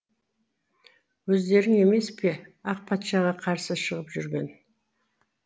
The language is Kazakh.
өздерің емес пе ақ патшаға қарсы шығып жүрген